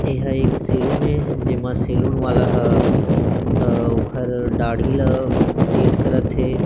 ए ह एक सैलून हे जे मा सैलून वाला ह अ ओखर दाडी ला सेट करत हे।